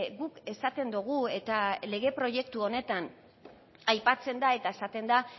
guk esaten dugu eta lege proiektu honetan aipatzen da eta esaten da